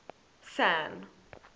san